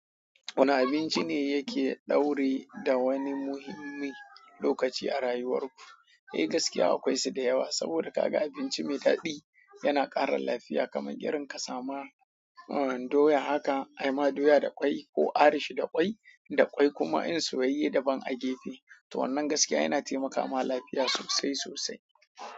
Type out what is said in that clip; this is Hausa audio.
Wani abinci ne yake daure da wani muhimmi lokaci a rayuwar ku? Eh, gaskiya akwai su da yawa. Saboda ka ga abinci mai daɗi yana ƙara lafiya. Kamar girin ka sama doya, haka ai ma doya da ƙwai ko arish da ƙwai da ƙwai kuma in su yiyi da ban agefe. To wannan gaskiya yana taimakawa lafiya sosai sosai.